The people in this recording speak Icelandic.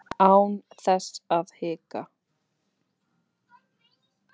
Án þess að hika.